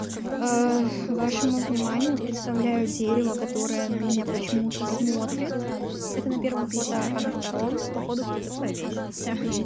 вашему вниманию представляю дерево которое на меня почему-то смотрит это на первом фото а на втором походу кто-то повесился